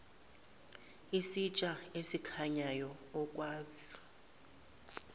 isitsha esikhanyayo okwazi